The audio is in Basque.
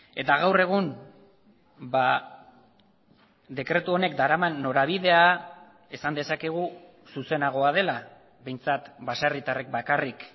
eta gaur egun dekretu honek daraman norabidea esan dezakegu zuzenagoa dela behintzat baserritarrek bakarrik